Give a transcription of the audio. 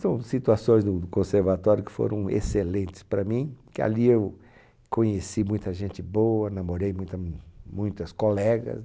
São situações do do conservatório que foram excelentes para mim, porque ali eu conheci muita gente boa, namorei muita, muitas colegas.